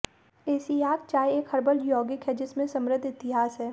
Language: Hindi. एसिआक चाय एक हर्बल यौगिक है जिसमें समृद्ध इतिहास है